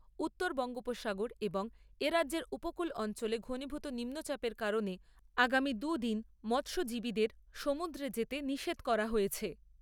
উত্তর বঙ্গোপসাগর এবং এ রাজ্যের উপকূল অঞ্চলে ঘনীভূত নিম্নচাপের কারণে আগামী দু'দিন মৎস্যজীবীদের সমুদ্রে যেতে নিষেধ করা হয়েছে।